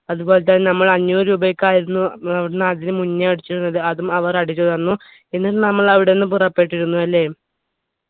അതുപോലെ തന്നെ നമ്മൾ അഞ്ഞൂറ് രൂപയ്ക്കായിരുന്നു ഏർ അവിടുന്ന് അടിച്ചിന് മുന്നേ അടിച്ചിരുന്നത് അതും അവർ അടിച്ച് തന്നു എന്നിട്ട് നമ്മൾ അവിടുന്ന് പുറപ്പെട്ടിരുന്നു അല്ലെ